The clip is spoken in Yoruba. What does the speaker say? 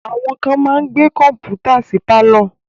Àwọn kán máa ń gbé Kọ́mpútà sí pálọ̀